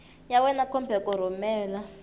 ya wena kumbe ku rhumela